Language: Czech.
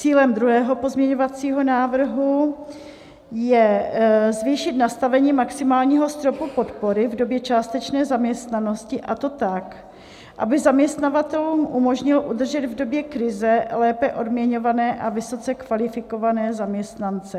Cílem druhého pozměňovacího návrhu je zvýšit nastavení maximálního stropu podpory v době částečné zaměstnanosti, a to tak, aby zaměstnavatelům umožnil udržet v době krize lépe odměňované a vysoce kvalifikované zaměstnance.